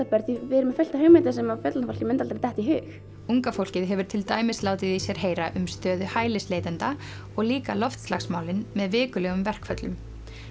börn því við erum með fullt af hugmyndum sem fullorðna fólkinu myndi aldrei detta í hug unga fólkið hefur til dæmis látið í sér heyra um stöðu hælisleitenda og líka loftslagsmálin með vikulegum verkföllum